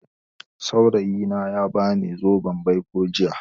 Saurayi na ya ba ni zoben baiko jiya